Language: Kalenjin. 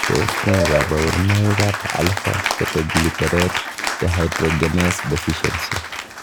Tos nee koborunoikab Alpha ketoglutarate dehydrogenase deficiency?